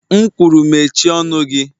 M kwuru mechie ọnụ gị.!